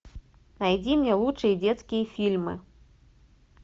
найди мне лучшие детские фильмы